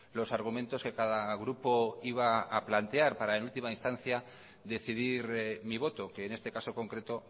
los argumentos que cada grupo iba a plantear para en última instancia decidir mi voto que en este caso concreto